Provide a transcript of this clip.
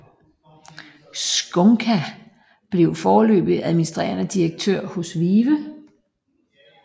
Csonka blev foreløbig administrerende direktør hos VIVE